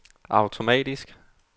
automatisk